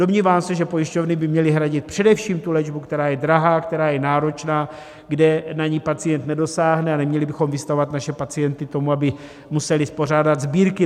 Domnívám se, že pojišťovny by měly hradit především tu léčbu, která je drahá, která je náročná, kde na ni pacient nedosáhne, a neměli bychom vystavovat naše pacienty tomu, aby museli pořádat sbírky.